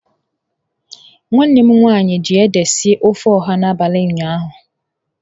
Nwanne m nwanyi ji ede sie ofe oha n'abali ụnyaahụ.